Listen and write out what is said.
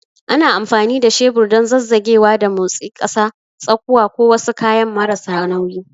Ana amfani da shebur don zazzagewa da motsi ƙasa, tsakuwa, ko wasu kayan marasa nauyi.